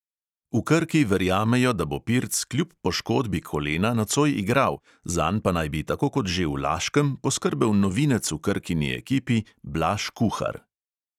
V krki verjamejo, da bo pirc kljub poškodbi kolena nocoj igral, zanj pa naj bi tako kot že v laškem poskrbel novinec v krkini ekipi blaž kuhar.